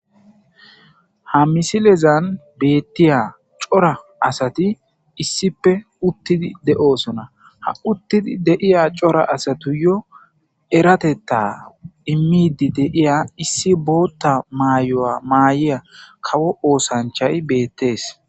Ha misilezan betiya c'ora asati issipe utidi de'osona ha uttidi deiya c'ora asatuyo eratetta imidi deiya issi bootta maayo7a maayiya kawo osanchay betes.